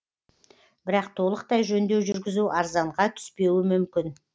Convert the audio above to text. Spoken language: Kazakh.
бірақ толықтай жөндеу жүргізу арзанға түспеуі мүмкін